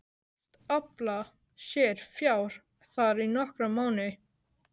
Hyggst afla sér fjár þar í nokkra mánuði.